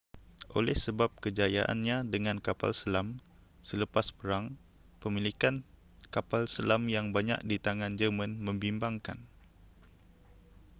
oleh sebab kejayaannya dengan kapal selam selepas perang pemilikan kapal selam yang banyak di tangan jerman membimbangkan